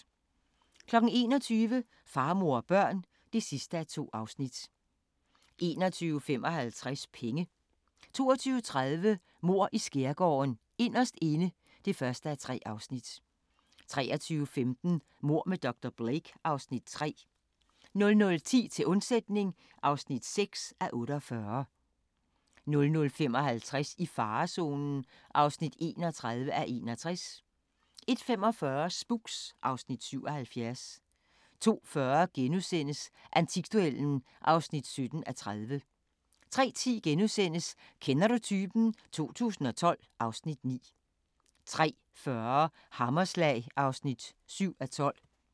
21:00: Far, mor og børn (2:2) 21:55: Penge 22:30: Mord i Skærgården: Inderst Inde (1:3) 23:15: Mord med dr. Blake (Afs. 3) 00:10: Til undsætning (6:48) 00:55: I farezonen (31:61) 01:45: Spooks (Afs. 77) 02:40: Antikduellen (17:30)* 03:10: Kender du typen? 2012 (Afs. 9)* 03:40: Hammerslag (7:12)